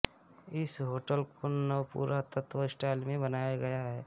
इस होटल को नवपुरातत्व स्टाइल में बनाया गया है